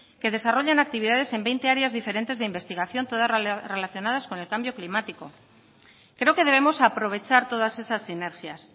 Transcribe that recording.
que desarrollan actividades en veinte áreas diferentes de investigación todas relacionadas con el cambio climático creo que debemos aprovechar todas esas sinergias